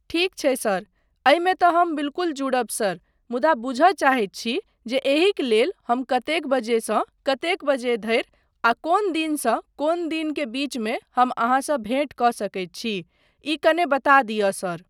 ठीक छै सर, एहिमे तँ हम बिल्कुल जुड़ब सर मुदा बुझय चाहैत छी जे एहिक लेल हम कतेक बजेसँ कतेक बजे धरि आ कोन दिनसँ कोन दिन के बीचमे हम अहाँसँ भेट कऽ सकैत छी ई कने बता दिअ, सर।